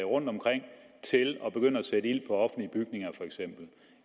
rundtomkring til at begynde at sætte ild på offentlige bygninger